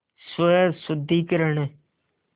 स्वशुद्धिकरण